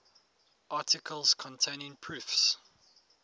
articles containing proofs